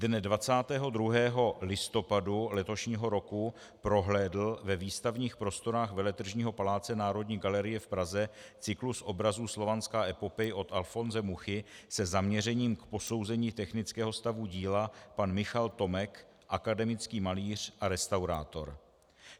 Dne 22. listopadu letošního roku prohlédl ve výstavních prostorách Veletržního paláce Národní galerie v Praze cyklus obrazů Slovanská epopej od Alfonse Muchy se zaměřením k posouzení technického stavu díla pan Michal Tomek, akademický malíř a restaurátor.